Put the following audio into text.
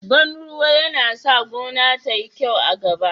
Ban ruwa yana sa gona tayi kyau a gaba